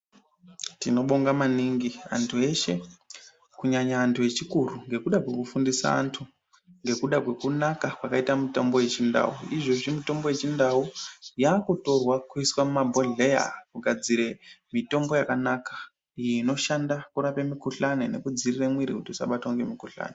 Tinobonga maningi antu eshe kunyanya antu echikuru nekuda kwekufundisa antu nekuda kwekunaka kwakaita mutombo wechindau izvozvi mitombo yechindau yakutorwa kuiswa mumabhedhlera kugadzire mitombo yakanaka inoshanda mikuhlani nekudziirira mwiri kuti isabatwe nemikuhlani .